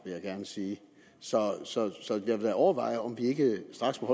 jeg gerne sige så så jeg vil da overveje om vi ikke straks må